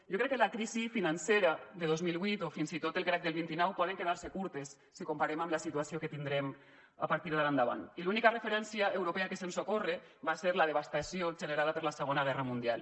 jo crec que la crisi financera de dos mil vuit o fins i tot el crac del vint nou poden quedar se curtes si ho comparem amb la situació que tindrem a partir d’ara endavant i l’única referència europea que se’ns ocorre és la devastació generada per la segona guerra mundial